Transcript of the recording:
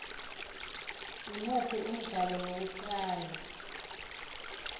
imuphi umdlalo wokuqala